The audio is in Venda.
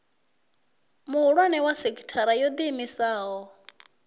muhulwane wa sekithara yo iimisaho